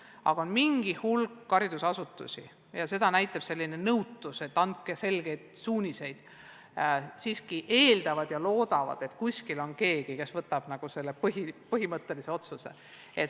Aga mingi hulk haridusasutusi on nõutud ja soovivad selgeid suuniseid, nad eeldavad ja loodavad, et kuskil on keegi, kes võtab vastu põhimõttelised otsused.